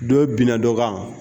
Dɔyi bina dɔ kan.